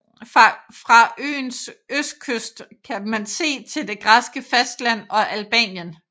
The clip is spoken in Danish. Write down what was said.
Fra øens østkyst kan man se til det græske fastland og Albanien